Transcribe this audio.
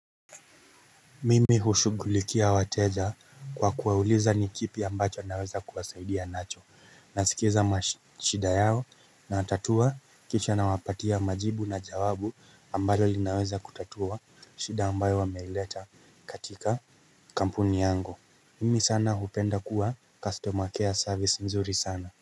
Mimi hushugulikia wateja kwa kuwauliza nikipi ambacho anaweza kuwasaidia nacho nasikiza mashida yao na tatua kisha na wapatia majibu na jawabu ambayo linaweza kutatua shida ambayo wameileta katika kampuni yangu Mimi sana hupenda kuwa customer care service nzuri sana.